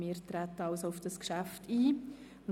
Wir treten auf das Geschäft ein.